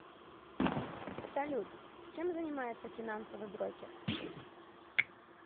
салют чем занимается финансовый брокер